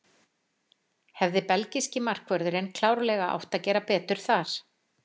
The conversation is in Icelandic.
Hefði belgíski markvörðurinn klárlega átt að gera betur þar.